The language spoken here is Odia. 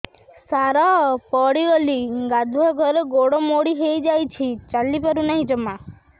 ସାର ପଡ଼ିଗଲି ଗାଧୁଆଘରେ ଗୋଡ ମୋଡି ହେଇଯାଇଛି ଚାଲିପାରୁ ନାହିଁ ଜମା